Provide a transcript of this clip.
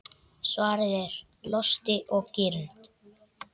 Svarið er: Losti og girnd.